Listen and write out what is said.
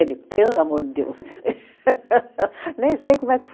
pelo amor de Deus. Nem sei como é